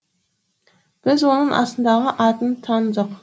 біз оның астындағы атын таныдық